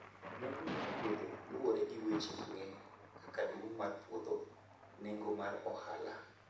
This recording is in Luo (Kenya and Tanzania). Nengo mar puodho luwore gi weche mang'eny kaka duong' mar puodho, nengo mar ohala